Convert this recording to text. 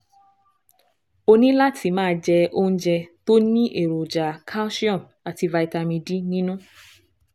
O ní láti máa jẹ oúnjẹ tó ní èròjà calcium àti vitamin D nínú